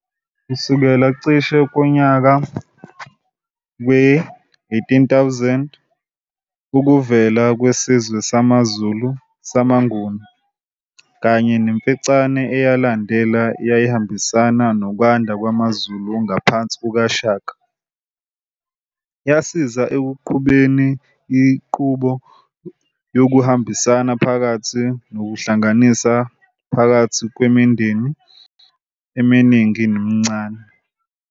Kusukela cishe ngonyaka we-1800, ukuvela kwesizwe samaZulu samaNguni, kanye neMfecane eyalandela eyayihambisana nokwanda kwamaZulu ngaphansi kukaShaka, yasiza ekuqhubeni inqubo yokubambisana phakathi nokuhlanganiswa phakathi kwemindeni eminingi emincane.